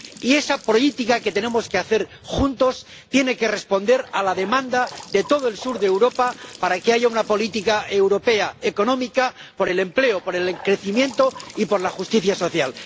Y esa política que tenemos que hacer juntos tiene que responder a la demanda de todo el sur de Europa de que haya una política europea económica por el empleo, por el crecimiento y por la justicia social.